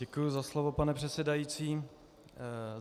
Děkuji za slovo, pane předsedající.